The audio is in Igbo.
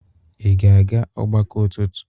ga-aga ọgbakọ ụtụtụ?